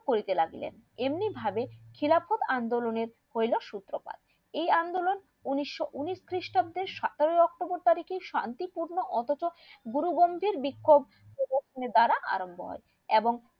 করিতে লাগিলেন এমনি ভাবে খিলাফত আন্দোলনের হইলো সূত্রপাত এই আন্দোলন উনিশশো উনিশ খ্রিস্টাব্দের সতেরো october তারিকে শান্তিপূর্ণ অথচ গুরুগন্ধির বিক্ষোপ হইলো এবং দ্বারা আরাম্ব হয়ে এবং